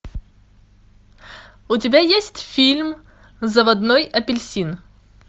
у тебя есть фильм заводной апельсин